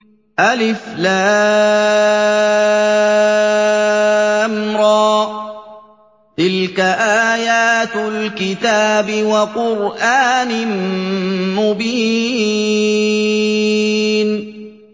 الر ۚ تِلْكَ آيَاتُ الْكِتَابِ وَقُرْآنٍ مُّبِينٍ